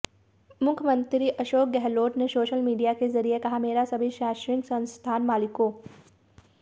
मुख्यमंत्री अशोक गहलोत ने social media के जरिए कहा मेरा सभी शैक्षणिक संस्थान मालिकों